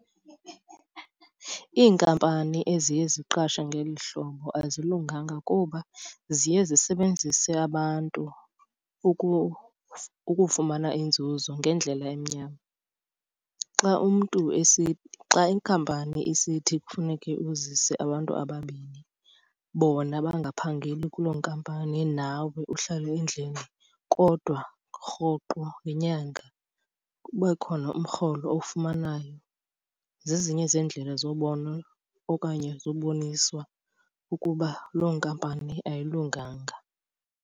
Iinkampani eziye ziqashe ngeli hlobo azilunganga kuba ziye zisebenzise abantu ukufumana inzuzo ngendlela emnyama. Xa umntu , xa inkampani isithi kufuneke uzise abantu ababini bona bangaphangeli kuloo nkampani nawe uhlale endlini kodwa rhoqo ngenyanga kube khona umrholo owufumanayo, zezinye zeendlela zobona okanye ziboniswa ukuba loo nkampani ayilunganga.